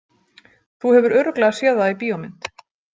Þú hefur örugglega séð það í bíómynd